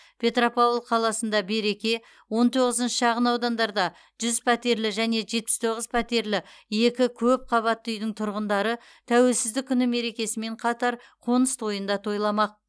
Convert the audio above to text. петропавл қаласында береке он тоғызыншы шағын аудандарда жүз пәтерлі және жетпіс тоғыз пәтерлі екі көп қабатты үйдің тұрғындары тәуелсіздік күні мерекесімен қатар қоныс тойын да тойламақ